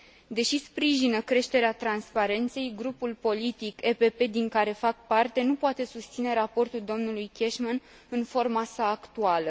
Deși sprijină creșterea transparenței, grupul politic PPE din care fac parte nu poate susține raportul domnului Cashman în forma sa actuală.